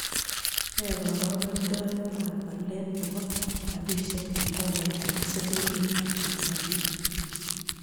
Nee karogendoetap walet ne po rabisyek eng' tolait ak silingiitap tanzania